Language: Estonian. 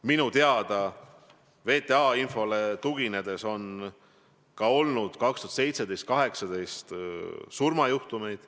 Minu teada, VTA infole tuginedes, on 2017 ja 2018 olnud ka surmajuhtumeid.